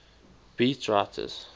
beat writers